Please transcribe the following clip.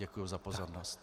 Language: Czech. Děkuji za pozornost.